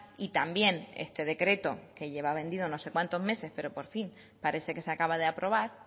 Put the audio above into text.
y también este decreto que lleva vendido no sé cuantos meses pero que por fin parece que se acaba de aprobar